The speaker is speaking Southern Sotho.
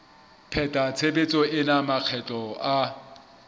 pheta tshebetso ena makgetlo a